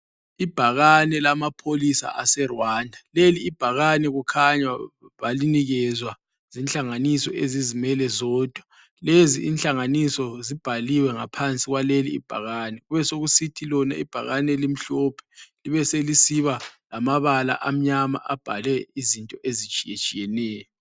Ibhakane lamapholisa aseRwanda lelibhakane kukhanya balinikezwa zinhlanganiso ezizimele zodwa, lezi inhlanganiso zibhaliwe ngaphansi kwalelibhakani besokusithi lona ibhakane limhlophe libe selisiba lamabala amnyama abhale izinto ezitshiyetshiyeneyo.